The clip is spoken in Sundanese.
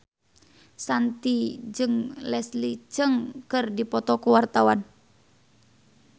Shanti jeung Leslie Cheung keur dipoto ku wartawan